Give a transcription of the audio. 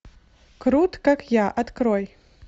крут как я открой